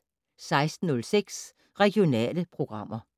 16:06: Regionale programmer